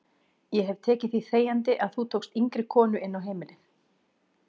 Ég hef tekið því þegjandi að þú tókst yngri konur inn á heimilið.